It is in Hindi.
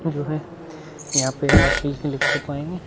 वो तो है। यहाँ पे आप ।